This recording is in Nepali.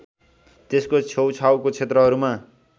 त्यसको छेउछाउको क्षेत्रहरूमा